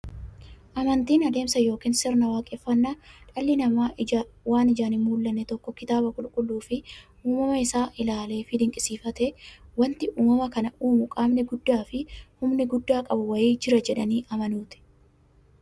Amantiin adeemsa yookiin sirna waaqeffannaa dhalli namaa waan ijaan hinmullanne tokko kitaaba qulqulluufi uumama isaa isaa ilaaleefi dinqisiifatee, wanti uumama kana uumu qaamni guddaafi humna guddaa qabu wa'ii jira jedhanii amanuuti.